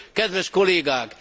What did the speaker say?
Kedves kollégák!